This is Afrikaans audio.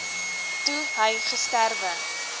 toe hy gesterwe